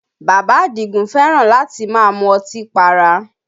Bàbá Àdìgún fẹ́ràn láti máa mú ọtí para